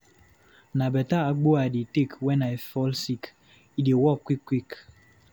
Na beta agbo I dey take wen I fall sick. E dey work quick quick.